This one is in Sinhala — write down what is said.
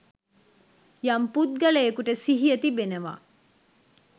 යම් පුද්ගලයෙකුට සිහිය තිබෙනවා